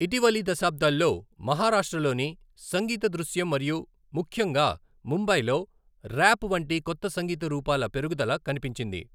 ఇటీవలి దశాబ్దాల్లో, మహారాష్ట్రలోని సంగీత దృశ్యం మరియు ముఖ్యంగా ముంబైలో ర్యాప్ వంటి కొత్త సంగీత రూపాల పెరుగుదల కనిపించింది.